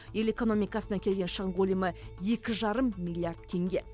ел экономикасына келген шығын көлемі екі жарым миллиард теңге